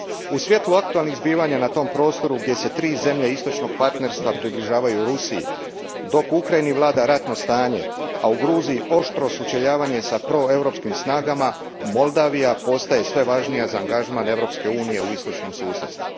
U svjetlu aktualnih zbivanja na tom prostoru gdje se tri zemlje Istočnog partnerstva približavaju Rusiji, dok u Ukrajini vlada ratno stanje, a u Gruziji oštro sučeljavanje s proeuropskim snagama, Moldova postaje sve važnija za angažman Europske unije u istočnom susjedstvu.